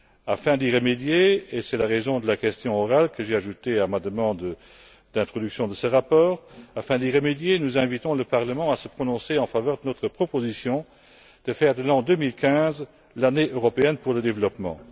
Afin d'y remédier, et c'est la raison de la question orale que j'ai ajoutée à ma demande d'élaboration de ce rapport, nous invitons le Parlement à se prononcer en faveur de notre proposition de faire de l'an 2015 l'Année européenne pour le développement.